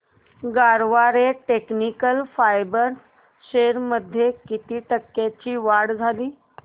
Garware technical fibres shares मध्ये किती टक्क्यांची वाढ झाली